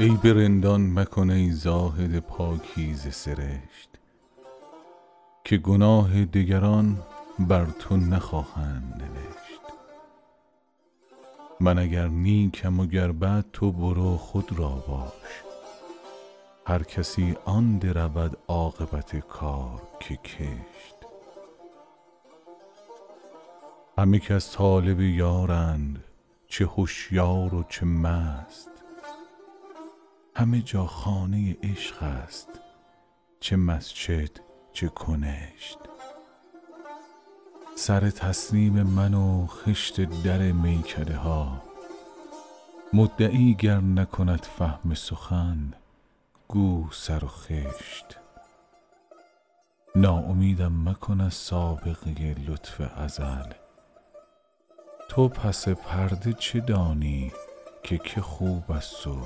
عیب رندان مکن ای زاهد پاکیزه سرشت که گناه دگران بر تو نخواهند نوشت من اگر نیکم و گر بد تو برو خود را باش هر کسی آن درود عاقبت کار که کشت همه کس طالب یارند چه هشیار و چه مست همه جا خانه عشق است چه مسجد چه کنشت سر تسلیم من و خشت در میکده ها مدعی گر نکند فهم سخن گو سر و خشت ناامیدم مکن از سابقه لطف ازل تو پس پرده چه دانی که که خوب است و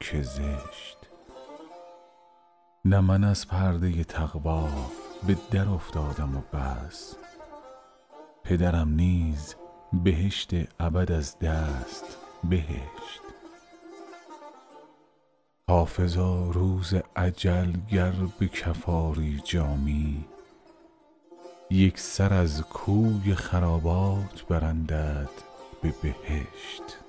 که زشت نه من از پرده تقوا به درافتادم و بس پدرم نیز بهشت ابد از دست بهشت حافظا روز اجل گر به کف آری جامی یک سر از کوی خرابات برندت به بهشت